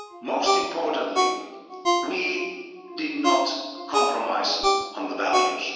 Most importantly, we did not compromise on the values.